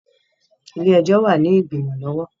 Ilé-ẹjọ wà ní igbimọ lọwọ